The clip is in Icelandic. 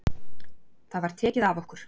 Það var tekið af okkur.